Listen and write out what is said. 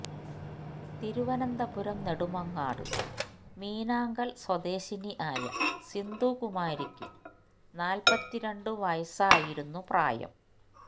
തിരുവനന്തപുരം നെടുമങ്ങാട് മീനാങ്കല് സ്വദേശിനി ആയ സിന്ധു കുമാരിക്കു നാല്പത്തി രണ്ടു വയസ്സായിരുന്നു പ്രായം